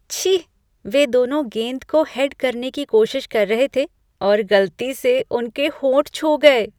छी! वे दोनों गेंद को हेड करने की कोशिश कर रहे थे और गलती से उनके होंठ छू गए।